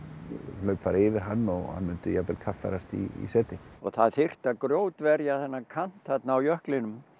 hlaup fara yfir hann og hann myndi jafnvel kaffærast í seti og það þyrfti að þennan kant þarna á jöklinum